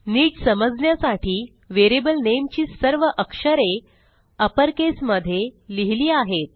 नीट समजण्यासाठी variable name ची सर्व अक्षरे अपरकेस मध्ये लिहिली आहेत